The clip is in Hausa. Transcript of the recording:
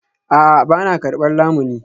A'a, ba na karbar lamuni